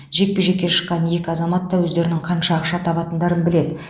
жекпе жекке шыққан екі азамат та өздерінің қанша ақша табатындарын біледі